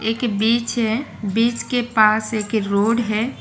एक बीच है बीच के पास एक रोड है।